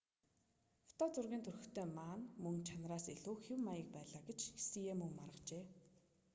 фото зургийн төрхтэй ма нь мөн чанараас илүү хэв маяг байлаа гэж хсие мөн маргажээ